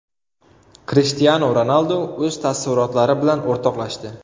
Krishtianu Ronaldu o‘z taassurotlari bilan o‘rtoqlashdi.